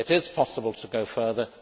It is possible to go further.